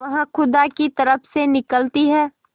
वह खुदा की तरफ से निकलती है